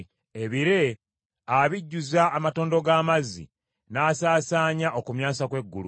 Ebire abijjuza amatondo g’amazzi, n’asaasaanya okumyansa kw’eggulu.